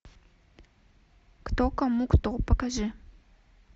кто кому кто покажи